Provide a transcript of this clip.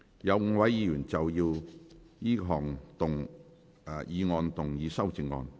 有5位議員要就這項議案動議修正案。